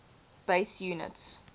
base units